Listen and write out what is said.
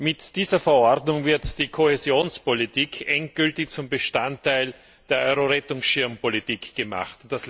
Mit dieser Verordnung wird die Kohäsionspolitik endgültig zum Bestandteil der Euro Rettungsschirmpolitik gemacht.